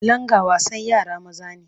Langa wasan yara maza ne.